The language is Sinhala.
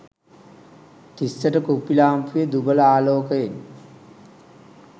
තිස්සට කුප්පි ලාම්පුවේ දුබල ආලෝකයෙන්